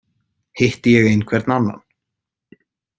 Hitti ég einhvern annan?